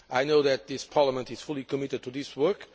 I know that this Parliament is fully committed to this work.